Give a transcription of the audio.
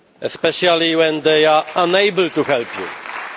especially when they are unable to help you.